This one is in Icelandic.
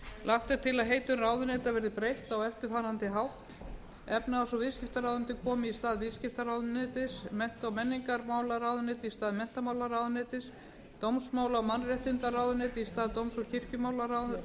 lagt er til að heitum ráðuneyta verði breytt á eftirfarandi hátt efnahags og viðskiptaráðuneyti komi í stað viðskiptaráðuneytis mennta og menningarmálaráðuneyti í stað menntamálaráðuneytis dómsmála og mannréttindaráðuneyti í stað dóms og